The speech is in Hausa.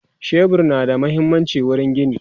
shebur na da muhimmanci wurin gini